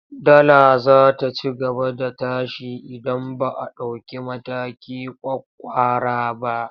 Dala za ta ci gaba da tashi idan ba a ɗauki mataki ƙwaƙƙwara ba.